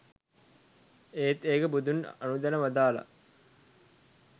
ඒත් ඒක බුදුන් අනුදැන වදාළ